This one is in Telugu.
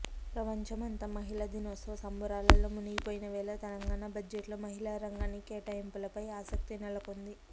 ప్రపంచమంతా మహిళా దినోత్సవ సంబురాల్లో ముగినిపోయినవేళ తెలంగాణ బడ్జెట్ లో మహిళా రంగానికి కేటాయింపులపై ఆసక్తినెలకొంది